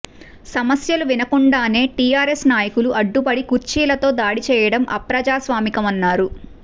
సమస్యలు వినకుండానే టిఆర్ఎస్ నాయకులు అడ్డుపడి కుర్చీలతో దాడి చేయడం అప్రజాస్వామికమన్నారు